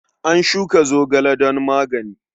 A shuka zogale don magani.